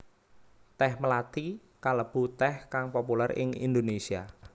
Tèh mlathi kalebu tèh kang populér ing Indonésia